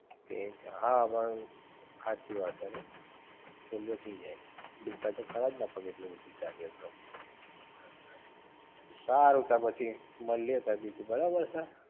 એવું છે હા પણ હાચી વાત છે નઇ? ફોલ્લીઑ થઈ જાઇ દુખે તો ખરા જ ને પગ આટલું બધુ ચાલી એ તો, સારું ત પછી મળી એ ત બીજું બરાબર છે?